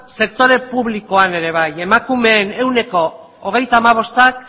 sektore publikoan ere bai emakumeen ehuneko hogeita hamabostak